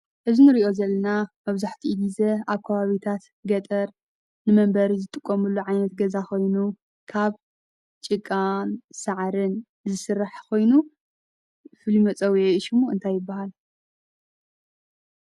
እዚ ንርእዮ ዘለና መብዙሕቲኡ ጊዜ ኣብ ክባቢታት ገጠር ንመንበሪ ዝጥቆምሉ ዓይነት ገዛ ኾይኑ ካብ ጭቃን ሰዓርን ዝሥራሕ ኾይኑ ፊሉይ መፀውዒ ሹሙ እንታይ ይበሃል?